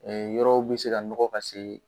yɔrɔw bɛ se ka nɔgɔ ka se